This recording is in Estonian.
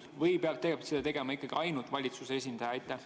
– või peab seda tegema ikkagi ainult volitatud valitsuse esindaja.